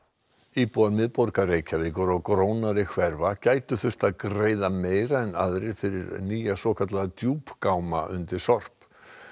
íbúar miðborgarinnar og grónari hverfa gætu þurft að greiða meira en aðrir fyrir nýja svokallaða undir sorp